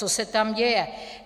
Co se tam děje?